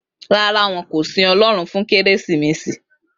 Rárá, won kò sin Ọlọ́run fún Kérésìmesì